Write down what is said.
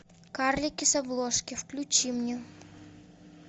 карлики с обложки включи мне